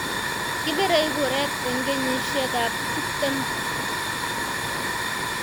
Kibirei kuret eng kenyishiekab tuptem